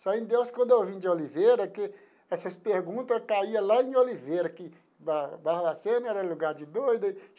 Só em Deus, quando eu vim de Oliveira, que essas perguntas caía lá em Oliveira, que Bar Barbacena era lugar de doido.